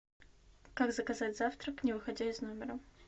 как заказать завтрак не выходя из номера